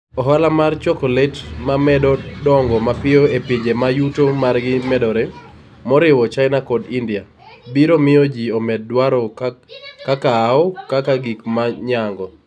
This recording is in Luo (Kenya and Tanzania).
Ohala mar chokolet ma medo dongo mapiyo e pinje ma yuto margi medore moriwo China kod India, biro miyo ji omed dwaro kakao kaka gik ma nyago.